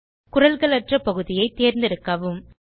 குரல்களற்ற பகுதியைத் தேர்ந்தெடுக்கவும்